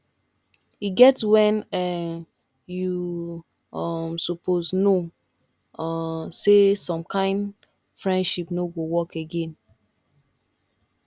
e get when um you um suppose know um sey some kind friendship no go work again